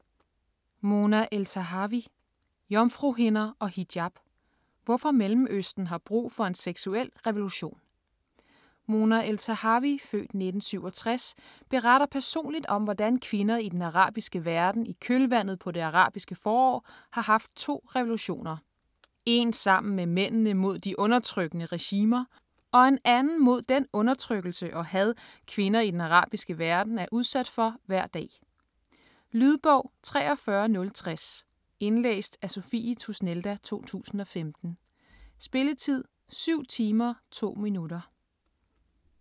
Eltahawy, Mona: Jomfruhinder og hijab: hvorfor Mellemøsten har brug for en seksuel revolution Mona Eltahawy (f. 1967) beretter personligt om hvordan kvinder i den arabiske verden i kølvandet på det arabiske forår har haft to revolutioner: En sammen med mændene mod de undertrykkende regimer, og en anden mod den undertrykkelse og had kvinder i den arabiske verden er udsat for hver dag. Lydbog 43060 Indlæst af Sophie Tusnelda, 2015. Spilletid: 7 timer, 2 minutter.